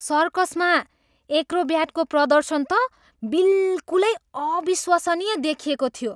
सर्कसमा एक्रोब्याटको प्रदर्शन त बिल्कुलै अविश्वसनीय देखिएको थियो!